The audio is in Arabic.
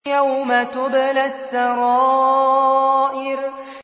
يَوْمَ تُبْلَى السَّرَائِرُ